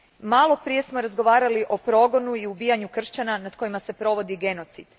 Malo prije smo razgovarali o progonu i ubijanju kršćana nad kojima se provodi genocid.